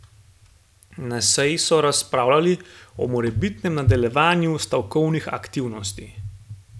Na seji so razpravljali o morebitnem nadaljevanju stavkovnih aktivnosti.